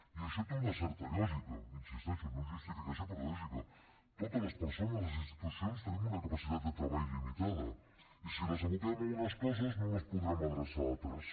i això té una certa lògica hi insisteixo no és justificació però és lògica totes les persones a les institucions tenim una capacitat de treball limitada i si les aboquem a unes coses no les podrem adreçar a altres